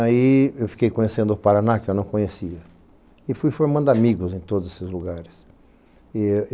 Aí eu fiquei conhecendo o Paraná que eu não conhecia e fui formando amigos em todos esses lugares.